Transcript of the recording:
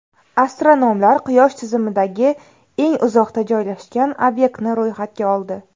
Astronomlar Quyosh tizimidagi eng uzoqda joylashgan obyektni ro‘yxatga oldi.